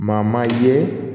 Maa maa ye